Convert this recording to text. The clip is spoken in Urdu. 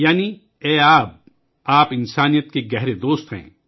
یعنی اے پانی تو انسانیت کا بہترین دوست ہے